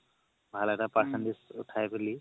ভাল এটা percentage উথাই পিলি